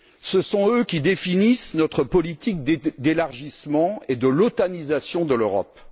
Ce sont eux qui définissent notre politique d'élargissement et l'otanisation de l'Europe.